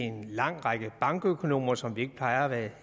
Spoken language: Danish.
en lang række bankøkonomer som vi ikke plejer at være